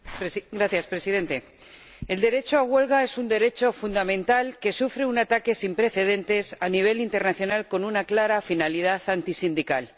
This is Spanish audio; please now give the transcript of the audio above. Señor Presidente, el derecho a huelga es un derecho fundamental que sufre un ataque sin precedentes a nivel internacional con una clara finalidad antisindical.